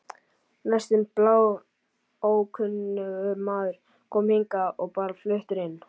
Næstum bláókunnugur maður, kominn hingað og bara fluttur inn.